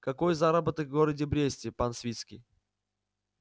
какой заработок в городе бресте пан свицкий